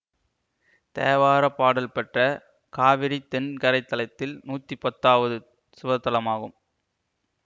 தேவாரப்பாடல் பெற்ற காவிரி தென்கரைத்தலத்தில் நூத்தி பத்தாவது சிவத்தலமாகும்